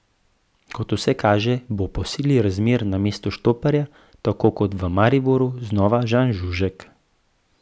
Kot vse kaže, bo po sili razmer na mestu štoperja, tako kot v Mariboru, znova Žan Žužek.